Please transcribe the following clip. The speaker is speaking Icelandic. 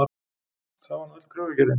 Það var nú öll kröfugerðin.